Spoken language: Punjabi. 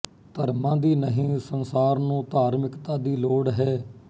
ਧਰਮਾਂ ਦੀ ਨਹੀਂ ਸੰਸਾਰ ਨੂੰ ਧਾਰਮਿਕਤਾ ਦੀ ਲੋੜ ਹੈ